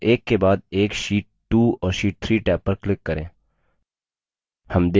tab एक के बाद एक sheet 2 और sheet 3 टैब पर click करें